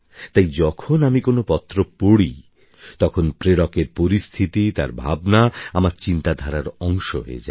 তাই যখন আমি কোনো পত্র পড়ি তখন প্রেরকের পরিস্থিতি তার ভাবনা আমার চিন্তাধারার অংশ হয়ে যায়